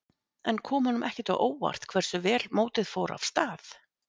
En kom honum ekkert á óvart hversu vel mótið fór af stað?